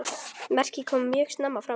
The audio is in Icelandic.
Merkið kom mjög snemma fram.